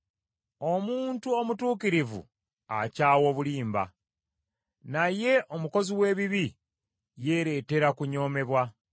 Omuntu omutuukirivu akyawa obulimba, naye omukozi w’ebibi yeereetera kunyoomebwa.